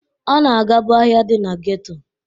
Ọ na-agabu ahịa dị na geto.